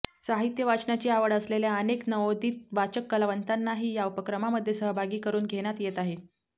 साहित्य वाचनाची आवड असलेल्या अनेक नवोदित वाचक कलावंतांनाही या उपक्रमामध्ये सहभागी करून घेण्यात येत आहे